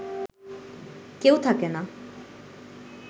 কেউ থাকে না